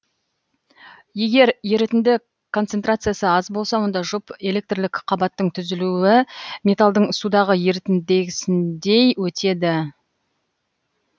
егер ерітінді концентрациясы аз болса онда жұп электрлік қабаттың түзілуі металдың судағы ерітіндегісіндей өтеді